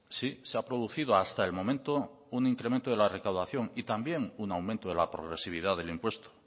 sí se ha producido hasta el momento un incremento de la recaudación y también un aumento de la progresividad del impuesto